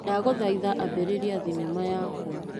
Ndagũthaitha ambĩrĩria thinema yakwa .